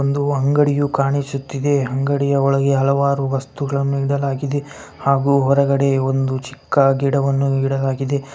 ಒಂದು ಅಂಗಡಿಯು ಕಾಣಿಸುತ್ತಿದೆ ಈ ಅಂಗಡಿಯ ಒಲಗೇ ಅಳವರು ವಸ್ತುಗಳು ಆಗು ಒರಗಡೆ ಒಂದು ಚಿಕ್ಕ ಗಿಡವನ್ನು ನೀಡಲಾಗಿದೆ .